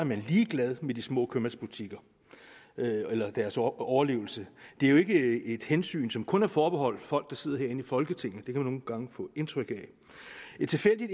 man ligeglad med de små købmandsbutikker eller deres overlevelse det er jo ikke et hensyn som kun er forbeholdt folk der sidder herinde i folketinget det kan man nogle gange få indtryk af et tilfældigt